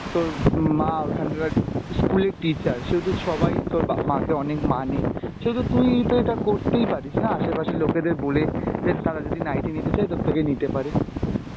তোর উম মা ঐখানকার school এর teacher সেহেতু সবাই তোর বা~ মাকে অনেক মানে, সেহেতু তুই তো এটা করতেই পারিস না আশেপাশের লোকেদের বলে যে তারা যদি নাইটি নিতে চায় তোর থেকে নিতে পারে